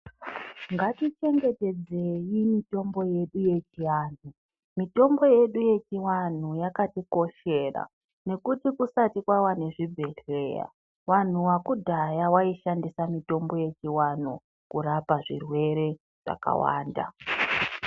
Ngatichengetedzei mitombo yedu yechianhu. Mitombo yedu yechiwanhu yakatikoshera nekuti kusati kwava nezvibhedhleya wanhu wakudhaya waishandisa mitombo yechiwanhu kurapa zvirwere zvakawanda.